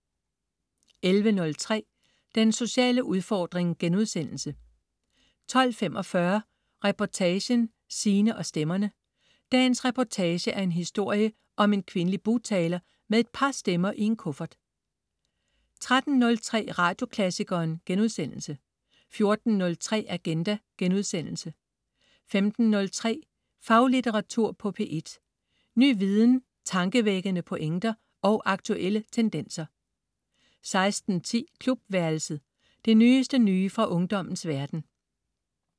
11.03 Den sociale udfordring* 12.45 Reportagen: Sine og stemmerne. Dagens reportage er en historie om en kvindelig bugtaler med et par stemmer i en kuffert 13.03 Radioklassikeren* 14.03 Agenda* 15.03 Faglitteratur på P1. Ny viden, tankevækkende pointer og aktuelle tendenser 16.10 Klubværelset. Det nyeste nye fra ungdommens verden